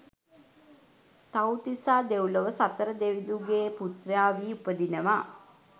තිව්තිසා දෙව්ලොව සතර දෙවිදුගේ පුත්‍රයා වී උපදිනවා.